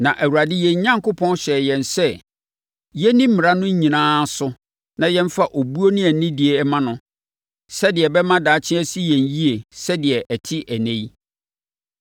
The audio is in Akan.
Na Awurade yɛn Onyankopɔn hyɛɛ yɛn sɛ yɛnni mmara no nyinaa so na yɛmfa obuo ne anidie mma no sɛdeɛ ɛbɛma daakye asi yɛn yie sɛdeɛ ɛte ɛnnɛ yi.